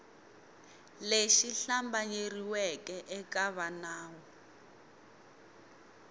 lexi hlambanyeriweke eka va nawu